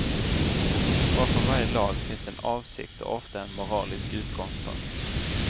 Bakom varje lag finns en avsikt och ofta en moralisk utgångspunkt.